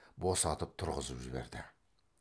босатып тұрғызып жіберді